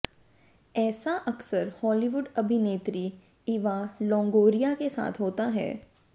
ऐसा अक्सर हॉलीवुड अभिनेत्री इवा लोंगोरिया के साथ होता है